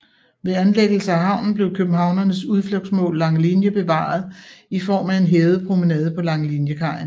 Ved anlæggelsen af havnen blev københavnernes udflugtsmål Langelinie bevaret i form af en hævet promenade på Langeliniekajen